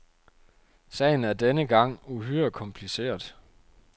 Sagen er denne gang uhyre kompliceret.